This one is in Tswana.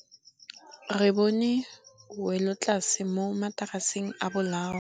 Re bone wêlôtlasê mo mataraseng a bolaô.